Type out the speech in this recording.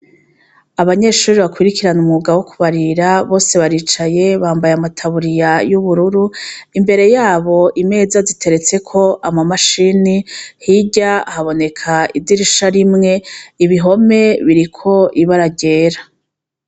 Abanyeshure bakurikira umwuga wo kwubarira bose baricaye bambaye ama taburiya y'ubururu, imbere yabo imeza ziteretseko ama mashine hirya haboneka idirisha rimwe, ibihome biriko ibara ryera.